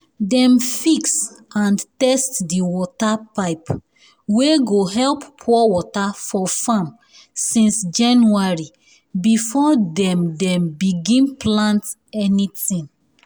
dem fix and test the water um pipe wey go help pour water for farm since january before dem dem begin plant anything.